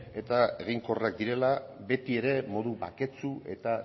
eta eginkorrak direla beti ere modu baketsu eta